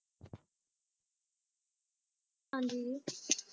ਹਾਜਰੂਰ